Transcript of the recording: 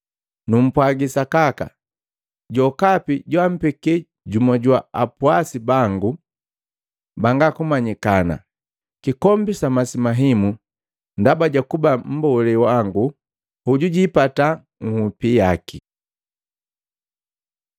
Numpwagi sakaka, jokapi joampeke jumu jwa apwasi bangu banga kumanyikana, kikombi sa masi mahimu ndaba ja kuba mmbolee jwangu, hoju jiipata nhupi jaki.”